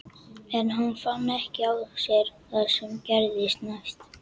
En hann fann ekki á sér það sem gerðist næst.